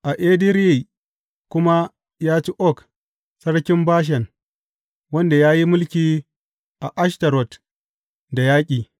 A Edireyi kuma ya ci Og sarkin Bashan wanda ya yi mulki a Ashtarot da yaƙi.